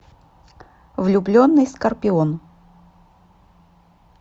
влюбленный скорпион